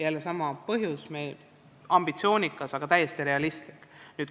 Jälle sama: ambitsioonikas, aga täiesti realistlik indikaator.